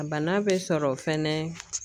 A bana bɛ sɔrɔ fɛnɛ